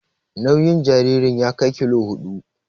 Nauyin jaririn ya kai kilo huɗu.